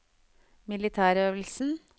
militærøvelsen